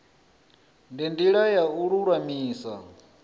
ndi ndila ya u lulamisa